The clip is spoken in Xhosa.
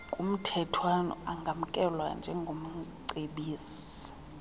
kumthethwana angamkelwa njengomcebisi